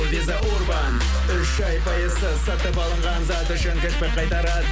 виза урбан үш ай пайызсыз сатып алынған зат үшін қайтарады